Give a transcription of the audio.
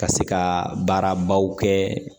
Ka se ka baarabaw kɛ